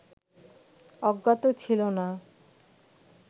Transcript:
অজ্ঞাত ছিল না